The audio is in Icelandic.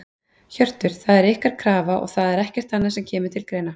Hjörtur: Það er ykkar krafa og það er ekkert annað sem að kemur til greina?